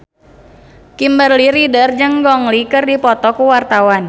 Kimberly Ryder jeung Gong Li keur dipoto ku wartawan